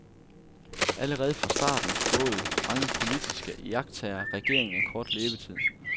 Allerede fra starten spåede mange politiske iagttagere regeringen en kort levetid.